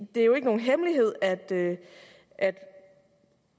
er nogen hemmelighed at det